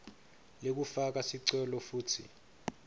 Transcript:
lekufaka sicelo futsi